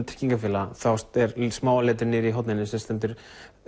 tryggingafélaga þá er smáa letrið niðri í horninu þar sem stendur